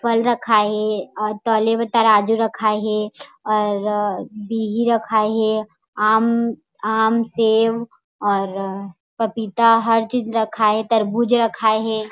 फल रखाय हे और तौले बर तराजू रखाय हे और बिही रखाय हे आम सेब और पपीता हर चीज रखाय हे तरबूज रखाय हे।